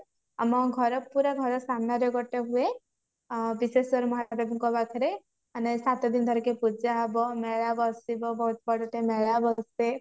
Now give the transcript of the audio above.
ଆମ ଘର ପୁରା ଘର ସାମ୍ନାରେ ଗୋଟେ ହୁଏ ବିଶେଷ କରି ମହାଦେବ ଙ୍କ ପାଖରେ ଆମେ ସାତ ଦିନ ଧରିକି ପୂଜା ହବ ମେଳା ବସିବ ବହୁତ ବଡ ଟେ ମେଳା ବସେ